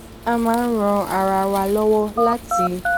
a máa ń ran ara wa lówó láti